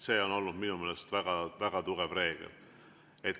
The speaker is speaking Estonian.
See on olnud minu meelest väga tugev reegel.